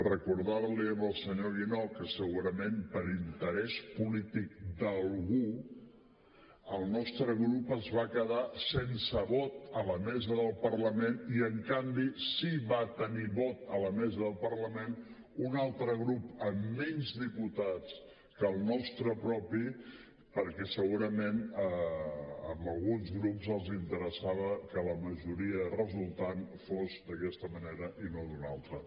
recordar li al senyor guinó que segurament per interès polític d’algú el nostre grup es va quedar sense vot a la mesa del parlament i en canvi sí que va tenir vot a la mesa del parlament un altre grup amb menys diputats que el nostre propi perquè segurament a alguns grups els interessava que la majoria resultant fos d’aquesta manera i no d’una altra